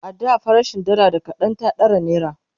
a da farashin dalla da kaɗan ta ɗara naira